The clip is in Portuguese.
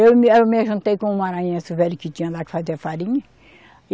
Eu me, aí eu me ajuntei com um maranhense velho que tinha lá que fazia farinha.